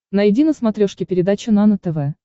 найди на смотрешке передачу нано тв